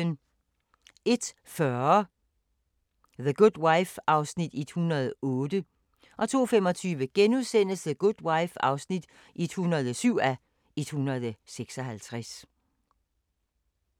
01:40: The Good Wife (108:156) 02:25: The Good Wife (107:156)* 03:10: Sæt pris på dit hjem (Afs. 14)